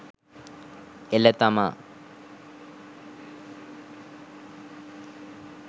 එළ තමා